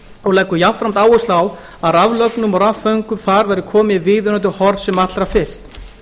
og leggur jafnframt áherslu á að raflögnum og rafföngum þar verði komið í viðunandi horf sem allra fyrst